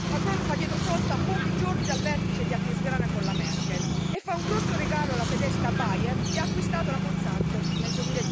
Macron fa dietrofront a pochi giorni dal vertice di Aquisgrana con la Merkel e fa un grosso regalo alla tedesca Bayer che ha acquistato la Monsanto, nel